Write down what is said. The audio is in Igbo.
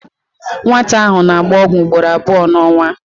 Nwata ahụ na-agba ọgwụ ugboro abụọ n'ọnwa.